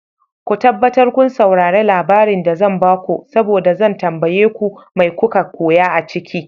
Ko tabbatar kun saurare labarin da zan bako saboda zan tambaye ku mai koka koya a ciki.